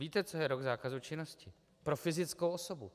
Víte, co je rok zákazu činnosti pro fyzickou osobu?